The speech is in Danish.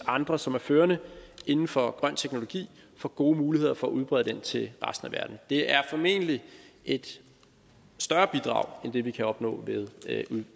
andre som er førende inden for grøn teknologi får gode muligheder for at udbrede den til resten af verden det er formentlig et større bidrag end det vi kan opnå ved